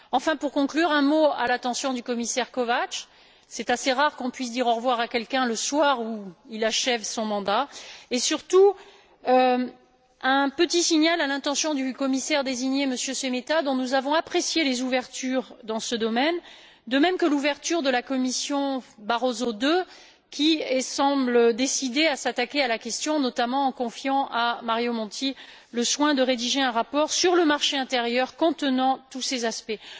Enfin, pour conclure, je souhaiterais dire un mot à l'attention du commissaire Kovács c'est assez rare que l'on puisse dire au revoir à quelqu'un le soir où il achève son mandat et surtout un petit signal à l'intention du commissaire désigné, M. Šemeta, dont nous avons apprécié les ouvertures dans ce domaine, de même que l'ouverture de la Commission Barroso II, qui semble décidée à s'attaquer à la question, notamment en confiant à Mario Monti le soin de rédiger un rapport sur le marché intérieur contenant tous ces aspects.